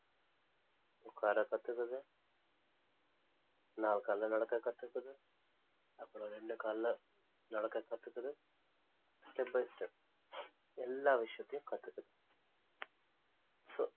உட்கார கத்துக்கிறது நாலு கால்ல நடக்க கத்துக்குது அப்புறம் இரண்டு கால்ல நடக்க கத்துக்குது step by step எல்லா விஷயத்தையும் கத்துக்குது so